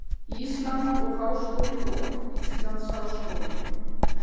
Íslands og háskóli vor Íslands háskóli.